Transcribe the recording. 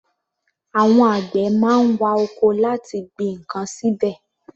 Àwọn àgbẹ̀ má ń wa oko láti gbin ǹkan síbẹ̀.